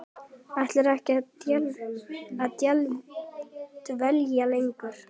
Ætlarðu ekki að dvelja lengur?